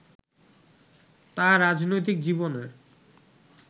তাঁর রাজনৈতিক জীবনের